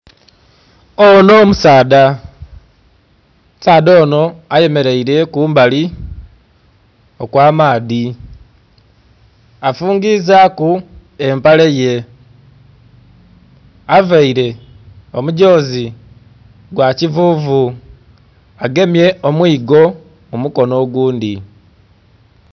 Onho musaadha, omusaadha onho ayemereire kumbali okwa maadhi afungizaku empale ye, avaire omudhozi ogwa kivuvu agemye omwigo mu mukonho oghundhi.